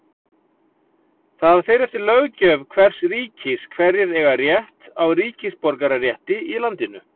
Það fer eftir löggjöf hvers ríkis hverjir eiga rétt á ríkisborgararétti í landinu.